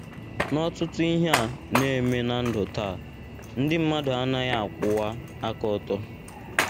N’ọtụtụ ihe a na - eme ná ndụ taa, ndị mmadụ anaghị akwụwa aka ọtọ.